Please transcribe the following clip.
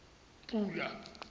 pula